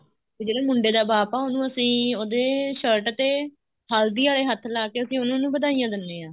ਜਿਹੜਾ ਮੁੰਡੇ ਦਾ ਬਾਪ ਆ ਉਹਨੂੰ ਅਸੀਂ ਉਹਦੀ shirt ਤੇ ਹਲਦੀ ਆਲੇ ਹੱਥ ਲਾਕੇ ਅਸੀਂ ਉਹਨਾ ਨੂੰ ਵਧਾਈਆਂ ਦਿੰਦੇ ਹਾਂ